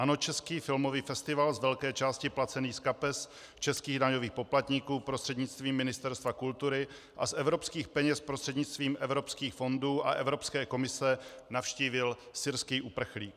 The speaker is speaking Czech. Ano, český filmový festival, z velké části placený z kapes českých daňových poplatníků prostřednictvím Ministerstva kultury a z evropských peněz prostřednictvím evropských fondů a Evropské komise, navštívil syrský uprchlík.